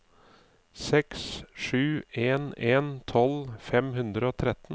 seks sju en en tolv fem hundre og tretten